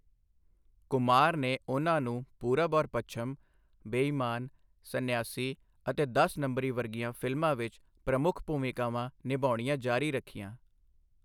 ਕੁਮਾਰ ਨੇ ਉਹਨਾਂ ਨੂੰ ਪੂਰਬ ਔਰ ਪੱਛਮ, ਬੇ ਈਮਾਨ, ਸੰਨਿਆਸੀ ਅਤੇ ਦਸ ਨੰਬਰੀ ਵਰਗੀਆਂ ਫ਼ਿਲਮਾਂ ਵਿੱਚ ਪ੍ਰਮੁੱਖ ਭੂਮਿਕਾਵਾਂ ਨਿਭਾਉਣੀਆਂ ਜਾਰੀ ਰੱਖੀਆਂ।